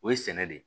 O ye sɛnɛ de ye